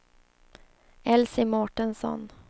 Elsie Mårtensson